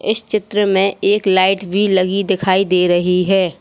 इस चित्र में एक लाइट भी लगी दिखाई दे रही है।